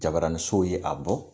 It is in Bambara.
Jabaranisow ye a bɔ